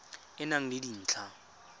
e e nang le dintlha